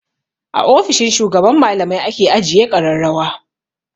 A ofishin shugaban malamai ake ajiye ƙararrawa.